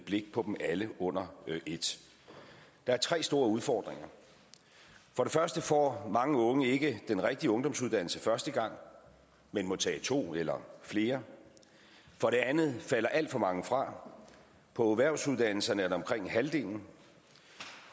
blik på dem alle under et der er tre store udfordringer for det første får mange unge ikke den rigtige ungdomsuddannelse første gang men må tage to eller flere for det andet falder alt for mange fra på erhvervsuddannelserne er det omkring halvdelen